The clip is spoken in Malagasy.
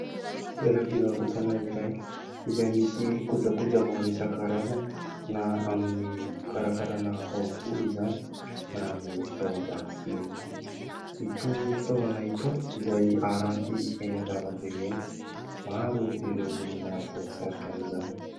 Toera-mpivarotana iray izay misy koja koja maro isa karaza na amin'ny fikarakarana taho volo izany na amin'ny fitaovan-dakosia. Itony fitaovana itony izay aran'ty eny an-dalambe ireny, maro ireo olona voa sarika an'izany.